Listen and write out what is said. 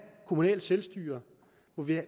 kommunalt selvstyre